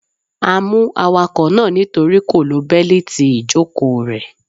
A mú awakọ̀ náà nítorí kò lo Bẹ́líìti ìjòkóo rè